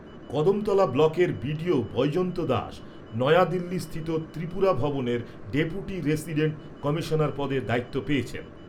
কদমতলা ব্লকের বিডিও বৈজয়ন্ত দাস নয়াদিল্লিস্থিত ত্রিপুরা ভবনের ডেপুটি রেসিডেন্ট কমিশনার পদে দায়িত্ব পেয়েছেন।